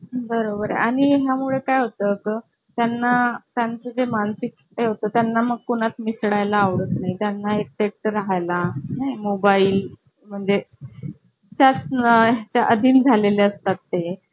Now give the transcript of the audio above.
त्यांना त्यांचे मानसिक ठेवता त्यांना मग कुणात मिसळायला आवडत नाही. त्यांना एकटे राहाय ला मोबाईल म्हणजे त्याच्या अधीन झालेले असतात ते